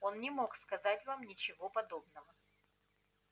он не мог сказать вам ничего подобного